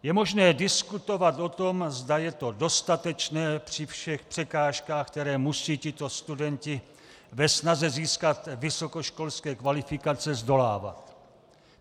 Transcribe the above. Je možné diskutovat o tom, zda je to dostatečné při všech překážkách, které musí tito studenti ve snaze získat vysokoškolské kvalifikace zdolávat.